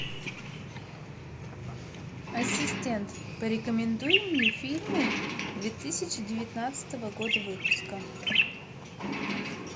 ассистент порекомендуй мне фильмы две тысячи девятнадцатого года выпуска